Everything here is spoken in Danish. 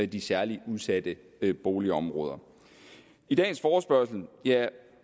de særlig udsatte boligområder i dagens forespørgsel er